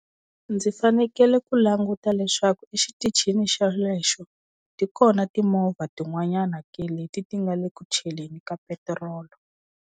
Ndzi fanekele ku languta leswaku exitichini xelexo ti kona timovha tin'wanyana ke, leti ti nga le ku chaleni ka petirolo.